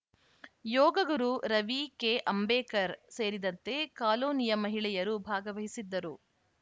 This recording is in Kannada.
ಯೋಗಗುರು ರವಿ ಕೆ ಅಂಬೇಕರ್‌ ಸೇರಿದಂತೆ ಕಾಲೋನಿಯ ಮಹಿಳೆಯರು ಭಾಗವಹಿಸಿದ್ದರು